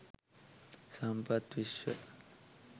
sampath wishwa